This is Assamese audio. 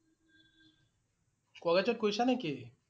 কলেজত গৈছা নেকি?